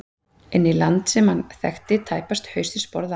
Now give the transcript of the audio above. Inn í land sem hann þekkti tæpast haus né sporð á.